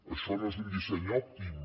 això no és un disseny òptim